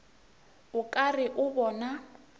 o ka re o bona